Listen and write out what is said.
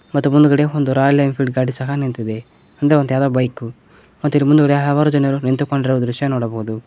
ಮತ್ತು ಮುಂದುಗಡೆ ಒಂದು ರಾಯಲ್ ಎನ್ಫೀಲ್ಡ್ ಗಾಡಿ ಸಹ ನಿಂತಿದೆ ಅಂದ್ರೆ ಯಾವುದೋ ಬೈಕು ಮತ್ತೆ ಇಲ್ಲಿ ಮುಂದುಗಡೆ ಹಲವಾರು ಜನರು ನಿಂತುಕೊಂಡಿರುವ ದೃಶ್ಯ ನೋಡಬಹುದು.